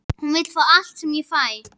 Hún vill fá allt sem ég fæ.